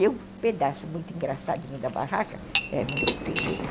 E um pedaço muito engraçadinho da barraca, é muito feio, hein?